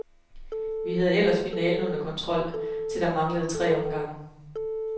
Vi havde ellers finalen under kontrol, til der manglede tre omgange.